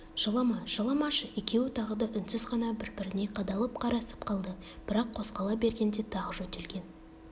жылама жыламашы екеуі тағы да үнсіз ғана бір-біріне қадалып қарасып қалды бірақ қозғала бергенде тағы жөтелген